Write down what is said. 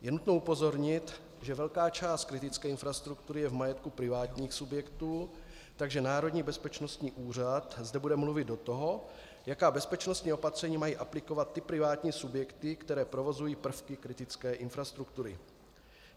Je nutno upozornit, že velká část kritické infrastruktury je v majetku privátních subjektů, takže Národní bezpečnostní úřad zde bude mluvit do toho, jaká bezpečnostní opatření mají aplikovat ty privátní subjekty, které provozují prvky kritické infrastruktury.